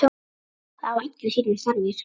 Það hafa allir sínar þarfir.